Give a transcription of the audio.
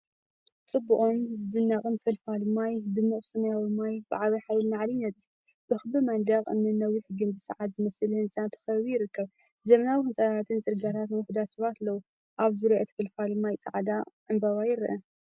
ጽቡቕን ዝድነቕን ፈልፋሊ ማይ! ድሙቕ ሰማያዊ ማይ ብዓቢ ሓይሊ ንላዕሊ ይነጽግ። ብክቢ መንደቕ እምኒን ነዊሕ ግምቢ ሰዓት ዝመስል ህንጻን ተኸቢቡ ይርከብ። ዘመናዊ ህንጻታትን ጽርግያታትን ውሑዳት ሰባትን ኣለዉ። ኣብ ዙርያ እቲ ፈልፋሊ ማይ ጻዕዳ ዕምባባ ይርአ።